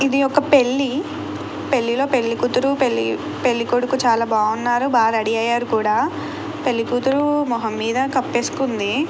ఇది ఒక పెళ్లి. పెళ్లిలో పెళ్లికూతురు పెళ్లి కొడుకు చాలా బాగున్నారు. బాగా రెడీ అయ్యారు కూడా పెళ్లికూతురు మొహం మీద కప్పేసుకుంది.